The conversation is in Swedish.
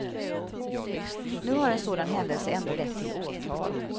Nu har en sådan händelse ändå lett till åtal.